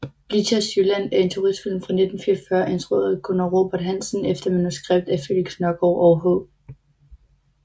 Blichers Jylland er en turistfilm fra 1944 instrueret af Gunnar Robert Hansen efter manuskript af Felix Nørgaard og H